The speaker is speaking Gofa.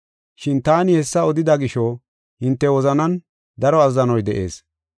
Shin taani hessa odida gisho, hinte wozanan daro azzanoy de7ees.